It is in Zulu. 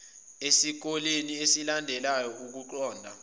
esikoleni esilandelayo ukuqonda